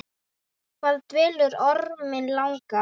Hvað dvelur orminn langa?